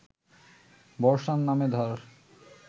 বর্ষার নামে ধার